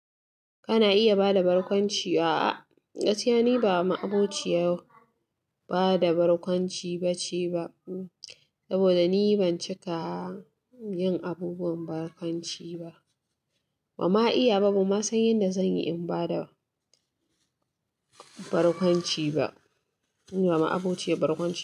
Kana iya bada barkwanci? A'a gaskiya ni ba ma abokiya ba da barkwanci baceba saboda ni ban cika yin abubuwan barkwanci ba. Ban ma iya ba, ba ma san yadda zan yi in bada barkwanci ba. Ni ba ma abociyar barkwanci ba.